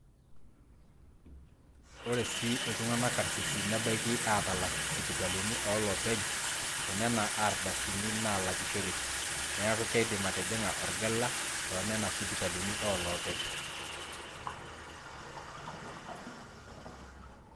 ore sii iltung'anak karisisi nebaiki aatalak sipitali olopeny toonena ardasini naalakishoreki, neeku keidim atijing'a orgela toonena sipitalini ooloopeny